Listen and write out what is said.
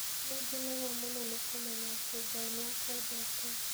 Nĩ ngenaga mũno nĩ kũmenya atĩ Ngai nĩ akwendete